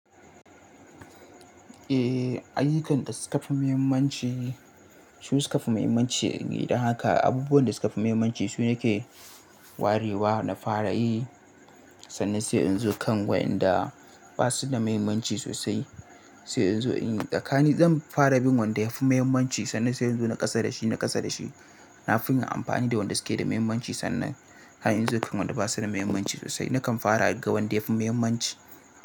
Eh, ayyukan da suka fi muhimmanci, su suka fi muhimmanci. Don haka abubuwan da suka fi muhimmanci su ne ke warewa na fara yi, sannan sai in zo kan waɗanda ba su da muhimmanci sosai, sai in zo in yi. Tsakani zan fara bin wanda ya fi muhimmanci sannan sai in zo na kasa da shi, na kasa da shi. Na fi yi amfani da wanda suke da muhimmanci sannan har in zo kan waɗanda ba su da mahimmanci sosai. Nakan fara ga wanda ya fi muhimmanci.